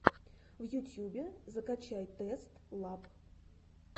в ютьюбе закачай тест лаб